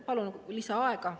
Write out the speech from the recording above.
Palun lisaaega.